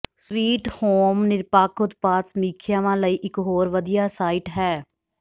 sweet home ਨਿਰਪੱਖ ਉਤਪਾਦ ਸਮੀਖਿਆਵਾਂ ਲਈ ਇੱਕ ਹੋਰ ਵਧੀਆ ਸਾਈਟ ਹੈ